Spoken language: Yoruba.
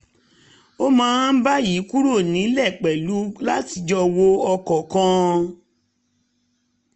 a máa ń báyìí kúrò nílé pẹ̀lú láti jọ wọ ọkọ̀ kan